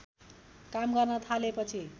काम गर्न थालेपछि